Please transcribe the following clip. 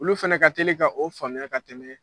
Olu fɛnɛ ka teli ka o faamuya ka tɛmɛ